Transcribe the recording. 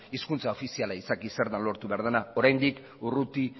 hizkuntza ofiziala izaki zer den lortu behar dena oraindik urrutik